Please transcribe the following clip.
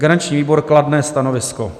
Garanční výbor kladné stanovisko.